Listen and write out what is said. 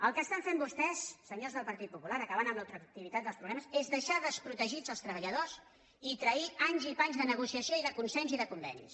el que estan fent vostès senyors del partit popular acabant amb la ultraactivi·tat dels convenis és deixar desprotegits els treballa·dors i trair anys i panys de negociació i de consens i de convenis